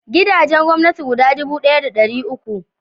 Gidajen gwamnati guda dubu ɗaya da dari uku